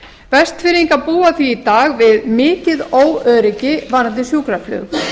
vestfirðingar búaþví í dag við mikið óöryggi varðandi sjúkraflug